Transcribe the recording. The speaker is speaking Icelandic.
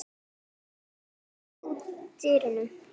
Læstir þú dyrunum?